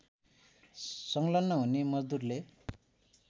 संलग्न हुने मजदूरले